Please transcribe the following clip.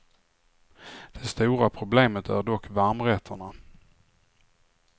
Det stora problemet är dock varmrätterna.